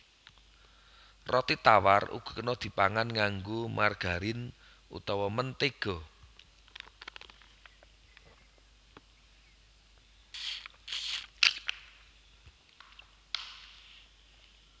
Roti tawar uga kena dipangan nganggo margarin utawa mentéga